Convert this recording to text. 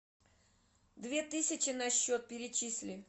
две тысячи на счет перечисли